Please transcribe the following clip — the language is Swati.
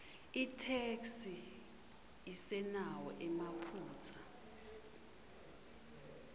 itheksthi isenawo emaphutsa